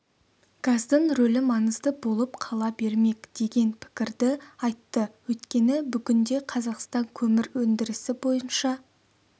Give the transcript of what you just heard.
газдың рөлі маңызды болып қала бермек деген пікірді айтты өйткені бүгінде қазақстан көмір өндірісі бойынша